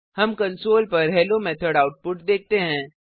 हम कंसोल पर hello method output देखते हैं